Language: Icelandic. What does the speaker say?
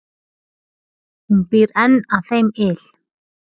Hún býr enn að þeim yl.